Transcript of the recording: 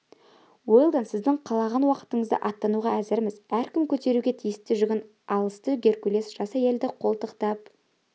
уэлдон сіздің қалаған уақытыңызда аттануға әзірміз әркім көтеруге тиісті жүгін алысты геркулес жас әйелді қолтықтап